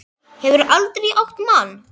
Hefurðu aldrei átt mann?